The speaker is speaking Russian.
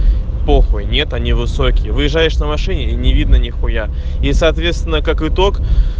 похуй нет они высокие выезжаешь на машине и не видно ни хуя и соответственно как итог